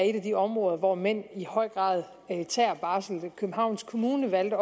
et af de områder hvor mænd i høj grad tager barsel københavns kommune valgte